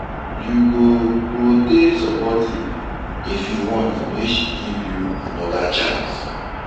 You go go dey supportive if you want make she give you anoda chance.